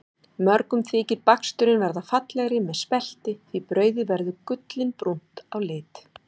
Mörgum þykir baksturinn verða fallegri með spelti því brauðið verður gullinbrúnt á lit.